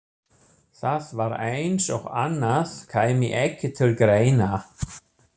Það var eins og annað kæmi ekki til greina.